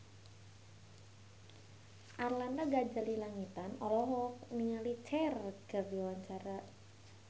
Arlanda Ghazali Langitan olohok ningali Cher keur diwawancara